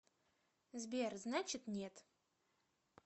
сбер значит нет